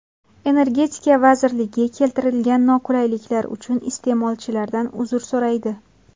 Energetika vazirligi keltirilgan noqulayliklar uchun iste’molchilardan uzr so‘raydi.